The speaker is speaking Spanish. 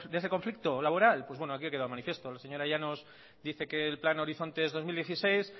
ese conflicto laboral pues bueno aquí ha quedado de manifiesto la señora llanos dice que el plan horizonte dos mil dieciséis